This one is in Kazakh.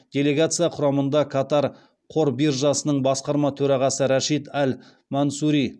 делегация құрамында катар қор биржасының басқарма төрағасы рашид әл мансури